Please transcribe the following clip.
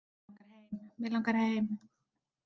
Mig langar heim.